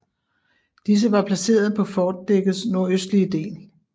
Disse var placeret på fortdækkets nordøstlige del